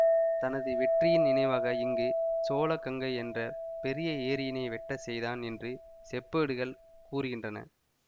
தனது வெற்றியின் நினைவாக இங்கு சோழ கங்கை என்ற பெரிய ஏரியினை வெட்டச் செய்தான் என்று செப்பேடுகள் கூறுகின்றன